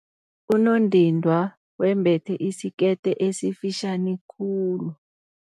Unondindwa wembethe isikete esifitjhani khulu.